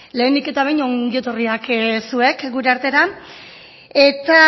lehenik eta behin ongietorriak zuek gure artera eta